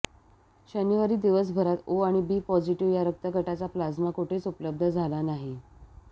शनिवारी दिवसभरत ओ आणि बी पॉझिटिव्ह या रक्तगटाचा प्लाझ्मा कोठेच उपलब्ध झाला नाही